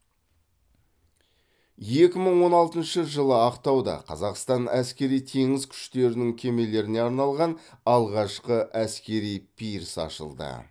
екі мың он алтыншы жылы ақтауда қазақстан әскери теңіз күштерінің кемелеріне арналған алғашқы әскери пирс ашылды